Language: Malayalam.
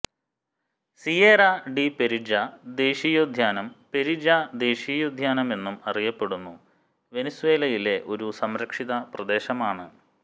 സിയേറ ഡി പെരിജ ദേശീയോദ്യാനം പെരിജ ദേശീയോദ്യാനമെന്നും അറിയപ്പെടുന്നു വെനിസ്വേലയിലെ ഒരു സംരക്ഷിത പ്രദേശമാണ്